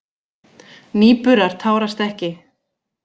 Nýburar tárast ekki.